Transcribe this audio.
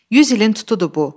100 ilin tutudur bu.